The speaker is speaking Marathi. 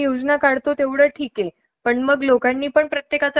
जो पर्यंत मान्य आहे गव्हर्नमेंट करताय